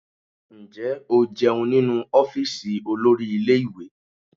Ǹjẹ́ o jẹun nínú ọ́fíìsì olórí ilé ìwé?